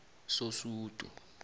sosudu